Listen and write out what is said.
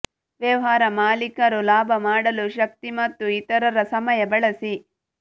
ವ್ಯವಹಾರ ಮಾಲೀಕರು ಲಾಭ ಮಾಡಲು ಶಕ್ತಿ ಮತ್ತು ಇತರರ ಸಮಯ ಬಳಸಿ